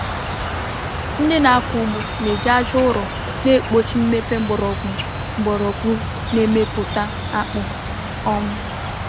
Ndị na-akọ ugbo na-eji aja ụrọ na-egbochi mmepe mgbọrọgwụ mgbọrọgwụ na mmepụta akpụ. um